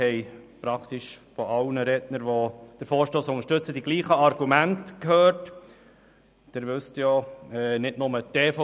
Wir haben praktisch von allen Rednern, die den Vorstoss unterstützen, dieselben Argumente gehört.